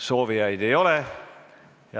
Soovijaid ei ole.